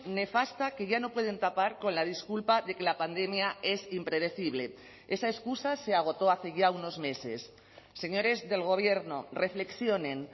nefasta que ya no pueden tapar con la disculpa de que la pandemia es impredecible esa excusa se agotó hace ya unos meses señores del gobierno reflexionen